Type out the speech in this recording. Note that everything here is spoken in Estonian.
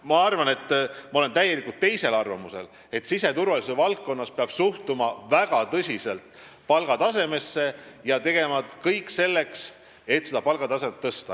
Ma olen täiesti teisel arvamusel: siseturvalisuse valdkonnas peab palgatasemesse suhtuma väga tõsiselt ja tegema kõik selleks, et seda tõsta.